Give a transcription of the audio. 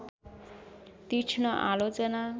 तीक्ष्ण आलोचना